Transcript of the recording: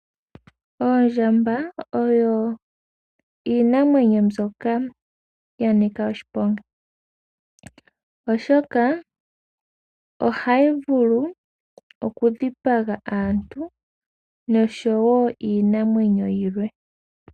Oondjamba oyo iinamwenyo mbyoka ya nika oshiponga, oshoka ohayi vulu okudhipaga aantu noshowo iinamwenyo yimwe.